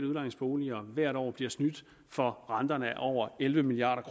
udlejningsboliger hvert år bliver snydt for renterne af over elleve milliard